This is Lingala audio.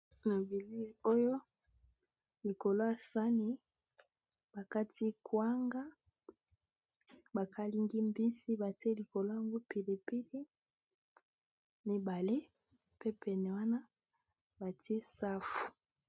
Na bilili oyo likolo ya sani bakati kuanga ba kalingi mbisi batie likolo ya ngo pilipili mibale pe pene wana batie safu.